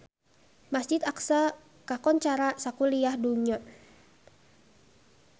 Masjid Aqsa kakoncara sakuliah dunya